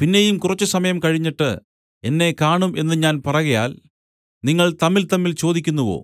പിന്നെയും കുറച്ചുസമയം കഴിഞ്ഞിട്ട് എന്നെ കാണും എന്നു ഞാൻ പറകയാൽ നിങ്ങൾ തമ്മിൽതമ്മിൽ ചോദിക്കുന്നുവോ